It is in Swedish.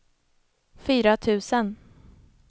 fyra tusen